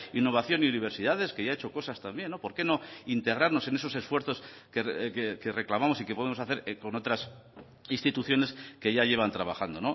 innovación y universidades que ya ha hecho cosas también por qué no integrarnos en esos esfuerzos que reclamamos y que podemos hacer con otras instituciones que ya llevan trabajando